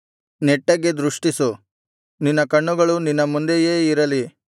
ನೆಟ್ಟಗೆ ದೃಷ್ಟಿಸು ನಿನ್ನ ಕಣ್ಣುಗಳು ನಿನ್ನ ಮುಂದೆಯೇ ಇರಲಿ